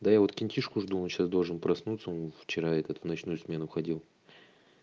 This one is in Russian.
да вот кентишку жду он сейчас должен проснуться он вчера этот в ночную смену ходил